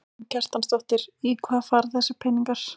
Karen Kjartansdóttir: Í hvað fara þessir peningar?